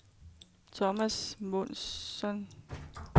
Thomas Månsson